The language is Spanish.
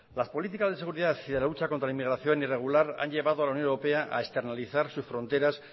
las políticas de seguridad y de la lucha contra la inmigración irregular han llevado a la unión europea a externalizar sus fronteras